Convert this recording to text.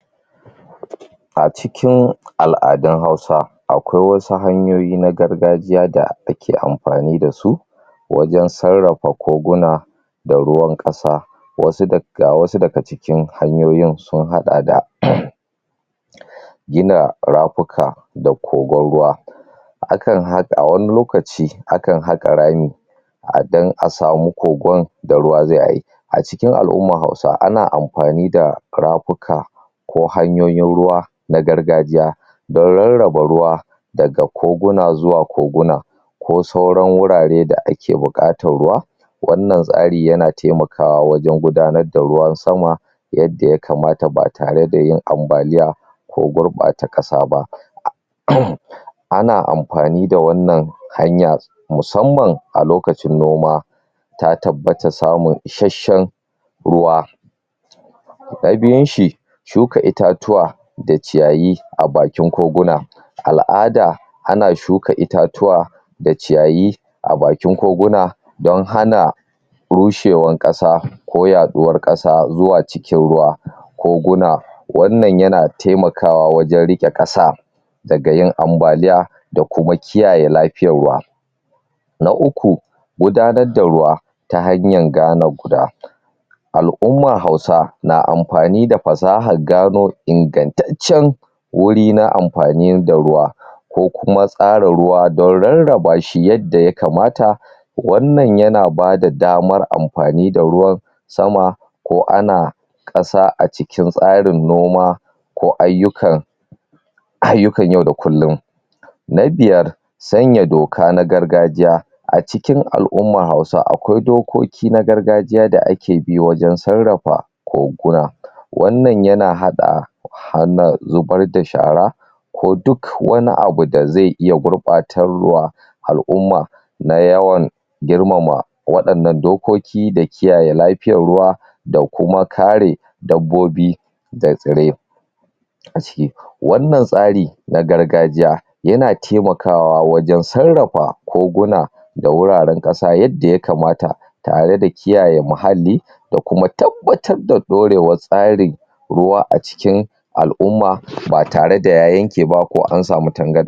Acikin aladun hausa akwai wasu hanyoyi na gargajiya da ake amfani da su Wajen sarrara koguna da ruwan kasa. Ga wasu daga cikin hanyoyin sun hada da gina ramuka da kogon ruwa. Wani lokaci akan haka r dan asamu kogon da ruwa zai aiki. Acikin al'ummar hausa ana amfani da ramuka ko hanyoyin ruwa na gargajiya dan rarraba ruwa daga koguna zuwa koguna ko sauran wurare da ake bukatar ruwa wannan tsari yana taimakawa wajen gudanar da ruwan sama yadda ya kamata ba tare da yin ambalia ko gurbata kasa ba ana amfani da wannan hanya musamman a lokacin ruwa ta tabbata samu isasshen ruwa Na biyunshi shuka itatuwa da ciyayi a bakin koguna al'ada ana suka itatuwa da ciyayi a bakin koguna don hana rushewar kasa ko yaduwar kasa zuwa cikin kasa koguna wannan yana taimakawa wjen rike kasa daga yin ambalia da kuma kiyaye lafiyar ruwa Na uku gudanar da ruwa ta hanyan gane guda Al'ummar hausa na amfani da fasahar gano ingattaccen wuri na amfani da ruwa ko kuma tsara ruwa don rarrabasho yadda ya kamata wanann ayana bada damar amfani da ruwa sama ko ana kasa acikin tsarin noma ko ayyukan yau da kullum Na biyar sanya doka ta gargajiya acikin al'ummar hausa akwai dokoki na gargajiya da ake bi wajen sarrafa koguna wannan yana hada hanyar zubar da shara, ko duk wani abu da zai iya gurbatarwa Al'umma na yawan girmama wadannan dokoki da kiyaye lafiyar ruwa da kuma kare dabbobi da tsirrai, wannan tsari na gargajiya yana taimawa wajen sarrafa koguna da wuraren kasa yadda ya kamata tare da kiyaye mahalli da kuma tabbatar da dorewar tsarin ruwa a cikin al'umma ba tare da ya yanke ba ko an samu tangarda.